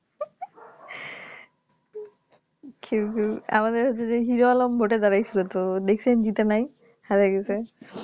ঘেউ ঘেউ আমাদের যে Heroalom ভোটে দাঁড়িয়েছিল তো দেখছেন জেতে নাই হেরে গেছে